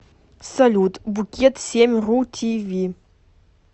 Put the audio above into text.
салют букет семь ру ти ви